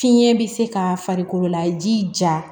Fiɲɛ bɛ se ka farikolo laji ja